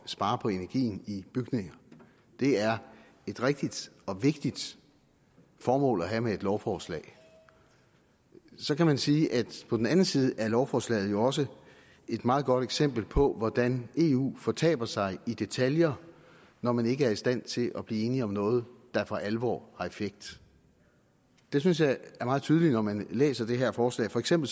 spare på energien i bygninger det er et rigtigt og vigtigt formål at have med et lovforslag så kan man sige at på den anden side er lovforslaget også et meget godt eksempel på hvordan eu fortaber sig i detaljer når man ikke er i stand til at blive enig om noget der for alvor har effekt det synes jeg er meget tydeligt når man læser det her forslag for eksempel